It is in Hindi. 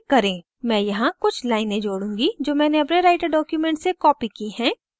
मैं यहाँ कुछ लाइनें जोडूँगी जो मैंने अपने writer document से copied की हैं